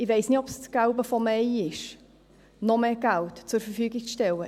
Ich weiss nicht, ob es das Gelbe vom Ei ist, noch mehr Geld zur Verfügung zu stellen.